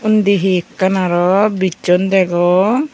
undi hi ekkan aro bisson degong.